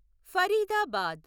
Faridabad